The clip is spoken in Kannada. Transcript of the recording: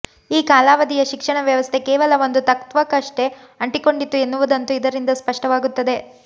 ಈ ಕಾಲಾವಧಿಯ ಶಿಕ್ಷಣ ವ್ಯವಸ್ಥೆ ಕೇವಲ ಒಂದು ತತ್ವಕ್ಕಷ್ಟೇ ಅಂಟಿಕೊಂಡಿತ್ತು ಎನ್ನುವುದಂತೂ ಇದರಿಂದ ಸ್ಪಷ್ಟವಾಗುತ್ತದೆ